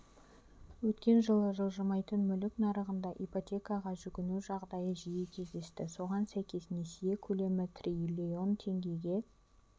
өткен жылы жылжымайтын мүлік нарығында ипотекаға жүгіну жағдайы жиі кездесті соған сәйкес несие көлемі триллион теңгеге